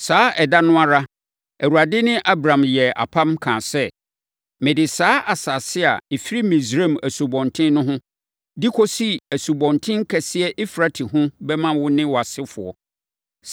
Saa ɛda no ara, Awurade ne Abram yɛɛ apam, kaa sɛ, “Mede saa asase a ɛfiri Misraim asubɔnten no ho, de kɔsi asubɔnten kɛseɛ Eufrate ho bɛma wo ne wʼasefoɔ.